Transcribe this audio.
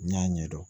N y'a ɲɛ dɔn